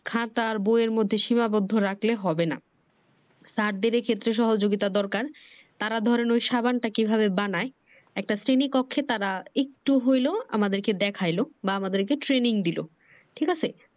খাতা আর বই এর মধ্যে সীমাবদ্ধ রাখলে হবে না। স্যারদের এই ক্ষেত্রে সহযোগিতা দরকার তারা ধরেন ওই সাবানটা কিভাবে বানায়। একটা শ্রেণী কক্ষে তারা একটু হইলেও আমাদেরকে দেখাইলো বা আমাদেরকে training দিলো ঠিক আছে।